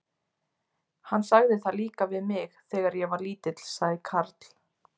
Hann sagði það líka við mig, þegar ég var lítill sagði Karl.